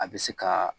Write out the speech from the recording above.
A bɛ se ka